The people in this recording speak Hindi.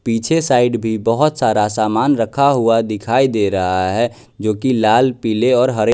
पीछे साइड भी बहोत सारा सामान रखा हुआ दिखाई दे रहा है जोकि लाल पीले हरे--